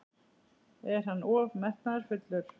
Er hann of metnaðarfullur?